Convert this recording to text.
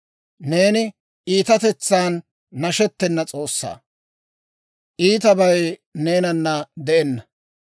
Neeni iitatetsan nashettena S'oossaa; iitabay neenana de'enna.